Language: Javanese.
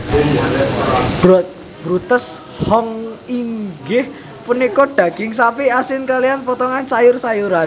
Bruntes Huhn inggih punika daging sapi asin kaliyan potongan sayur sayuran